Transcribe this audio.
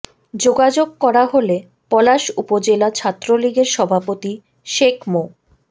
যোগাযোগ করা হলে পলাশ উপজেলা ছাত্রলীগের সভাপতি শেখ মো